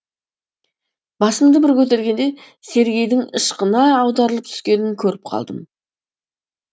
басымды бір көтергенде сергейдің ышқына аударылып түскенін көріп қалдым